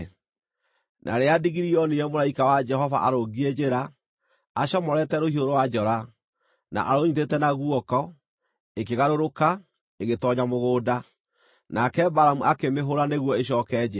Na rĩrĩa ndigiri yoonire mũraika wa Jehova arũngiĩ njĩra, acomorete rũhiũ rwa njora, na arũnyiitĩte na guoko, ĩkĩgarũrũka, ĩgĩtoonya mũgũnda. Nake Balamu akĩmĩhũũra nĩguo ĩcooke njĩra.